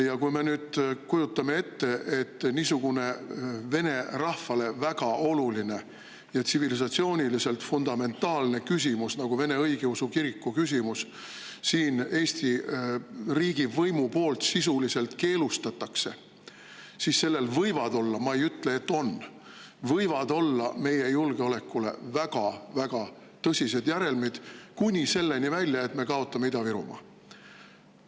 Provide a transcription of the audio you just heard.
Ja kui me nüüd kujutame ette, et niisugune vene rahvale väga oluline ja tsivilisatsiooniliselt fundamentaalne nagu Vene Õigeusu Kiriku keelustamine Eesti riigivõimu poolt, siis sellel võivad olla – ma ei ütle, et on, aga võivad olla – meie julgeolekule väga tõsised järelmid kuni selleni välja, et me kaotame Ida-Virumaa.